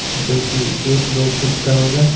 जो कि एक दो फुट का होगा।